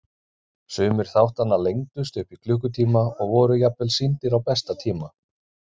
Sumir þáttanna lengdust upp í klukkutíma og voru jafnvel sýndir á besta tíma.